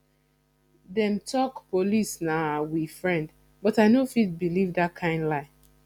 dem talk police na we friend but i no fit beliv dat kind lie